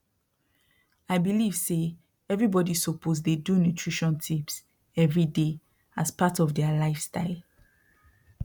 i believe say everybody suppose dey do nutrition tips every day as part of their lifestyle